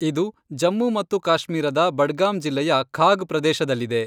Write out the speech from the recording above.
ಇದು ಜಮ್ಮು ಮತ್ತು ಕಾಶ್ಮೀರದ ಬಡ್ಗಾಮ್ ಜಿಲ್ಲೆಯ ಖಾಗ್ ಪ್ರದೇಶದಲ್ಲಿದೆ.